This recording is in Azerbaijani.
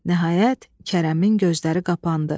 nəhayət, Kərəmin gözləri qapandı.